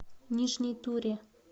нижней туре